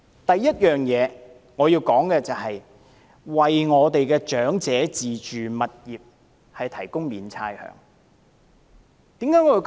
第一，我們要為長者的自住物業提供免差餉優惠。